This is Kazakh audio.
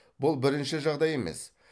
бұл бірінші жағдай емес